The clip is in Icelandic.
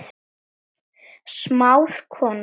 Smáð kona